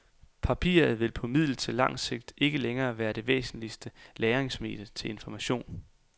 Papiret vil på middel til langt sigt ikke længere være det væsentligste lagringsmedie til information.